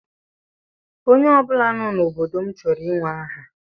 Onye ọ bụla nọ n'obodo m chọrọ inwe aha.